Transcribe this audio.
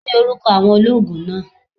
Kini oruko awon oloogun naa?